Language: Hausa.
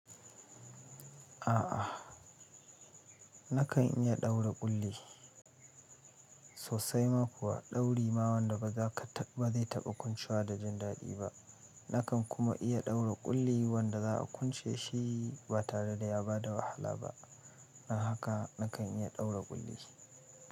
Aa nakan iya daure kulli sossai ma kuwa dauri ma wanda bazai taba kwancewa da jin dadi ba nakan kuma iya ɗaura ƙulli wanda za a kunce shi ba tare da ya ba da wahala ba. Don haka nakan iya ɗaura ƙulli.